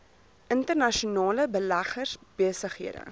internasionale beleggers besighede